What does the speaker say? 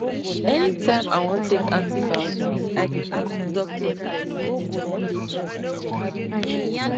anytime i wan take antibiotics i dey ask doctor first